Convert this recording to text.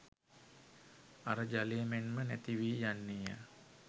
අර ජලය මෙන්ම නැතිවී යන්නේය.